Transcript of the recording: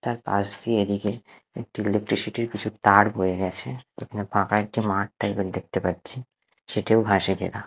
তার পাশ দিয়ে এদিকে একটি ইলেকট্রিসিটি -র কিছু তার বয়ে গেছে এখানে ফাঁকা একটি মাঠ টাইপ -এর দেখতে পাচ্ছি সেটিও ঘাসে ঘেরা।